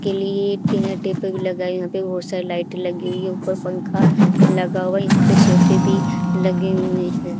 के लिए dinner table लगा यहां पे बहुत सारी लाइटें लगी हुई हैं ऊपर पंखा लगा हुवा हैं यहां पे सोफे भी लगे हुए हैं।